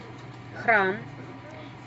храм